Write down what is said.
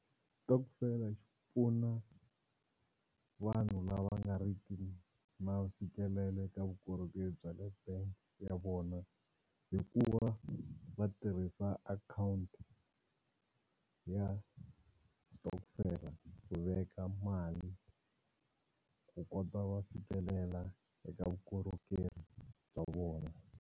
Xitokofela xi pfuna vanhu lava nga ri ki na mfikelelo eka vukorhokeri bya le bangi ya vona hi ku va va tirhisa account ya xitokofela ku veka mali ku kota va fikelela eka vukorhokeri bya vona.